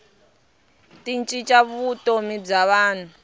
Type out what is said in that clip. ti cinca vutomi bya vanhu